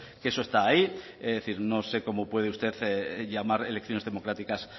que eso está ahí es decir no sé cómo puede usted llamar elecciones democráticas